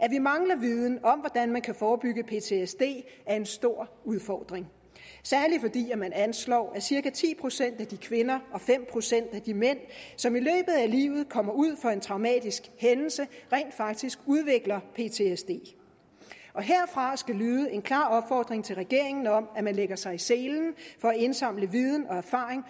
at vi mangler viden om hvordan man kan forebygge ptsd er en stor udfordring særlig fordi man anslår at cirka ti procent af de kvinder og fem procent af de mænd som i løbet af livet kommer ud for en traumatisk hændelse rent faktisk udvikler ptsd herfra skal lyde en klar opfordring til regeringen om at den lægger sig i selen for at indsamle viden og erfaring